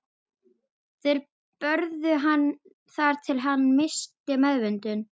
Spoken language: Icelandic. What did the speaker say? Þeir börðu hann þar til hann missti meðvitund.